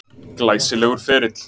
Glæsilegur ferill.